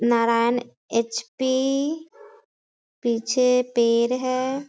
Narayan HP. पीछे पेड़ हैं।